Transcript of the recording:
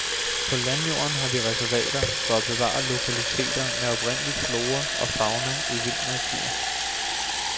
På landjorden har vi reservater for at bevare lokaliteter med oprindelig flora og fauna i vild natur.